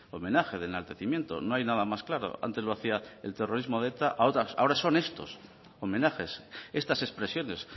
homenaje de enaltecimiento no hay nada más claro antes lo hacía el terrorismo de eta ahora son estos homenajes estas expresiones